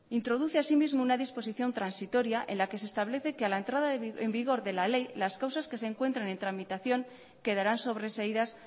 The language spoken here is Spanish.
introduce asimismo una disposición transitoria en la que se establece que a la entrada en vigor de la ley las causas que se encuentran en tramitación quedarán sobreseídas